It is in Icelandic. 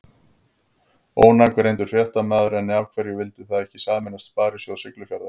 Ónafngreindur fréttamaður: En af hverju vildu þið ekki sameinast Sparisjóð Siglufjarðar?